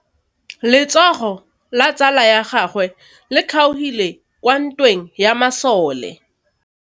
Letsôgô la tsala ya gagwe le kgaogile kwa ntweng ya masole.